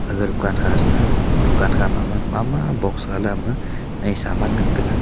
aga dukan kha thang ga dukan ma ma box ga le saman ngan tega.